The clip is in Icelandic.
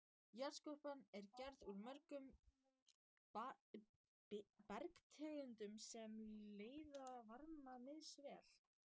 Jarðskorpan er gerð úr mörgum bergtegundum sem leiða varma misvel.